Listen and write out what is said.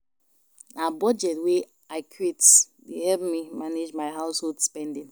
Na budget wey I create dey help me manage my household spending.